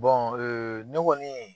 ne kɔni.